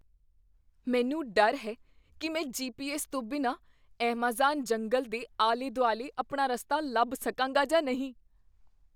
ਮੈਨੂੰ ਡਰ ਹੈ ਕੀ ਮੈਂ ਜੀ.ਪੀ.ਐੱਸ. ਤੋਂ ਬਿਨਾਂ ਐੱਮਾਜ਼ਾਨ ਜੰਗਲ ਦੇ ਆਲੇ ਦੁਆਲੇ ਆਪਣਾ ਰਸਤਾ ਲੱਭ ਸਕਾਂਗਾ ਜਾਂ ਨਹੀਂ